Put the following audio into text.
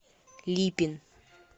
липин